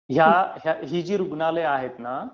ही जी रुग्णालयं आहेत ना